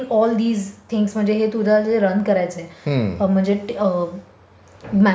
In all these things म्हणजे हे जे तुझ रन करायच आहे. म्हणजे म्यानेजमेंट किंवा...